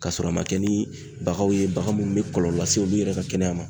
K'a sɔrɔ a ma kɛ ni baganw yen bagan minnu bɛ kɔlɔlɔ lase olu yɛrɛ ka kɛnɛya ma.